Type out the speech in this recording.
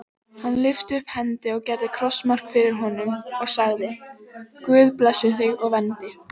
Hann lyfti upp hendi og gerði krossmark fyrir honum og sagði:-Guð blessi þig og verndi.